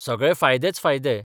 सगळे फायदेच फायदे.